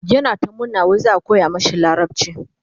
yana ta murna wai za'a koya mashi larabci